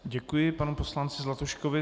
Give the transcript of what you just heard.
Děkuji panu poslanci Zlatuškovi.